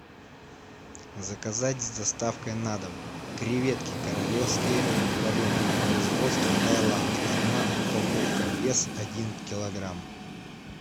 заказать с доставкой на дом креветки королевские вареные производство таиланд одна упаковка вес один килограмм